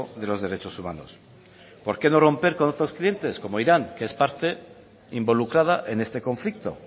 de los derechos humanos por qué no romper con otros clientes como irán que es parte involucrada en este conflicto